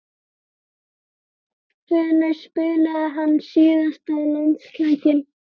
Hvenær spilaði hann síðast landsleik?